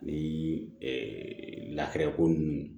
Ni ko ninnu